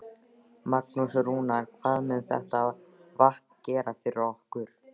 Magnús: Rúnar, hvað mun þetta vatn gera fyrir ykkur?